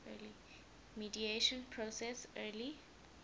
mediation process early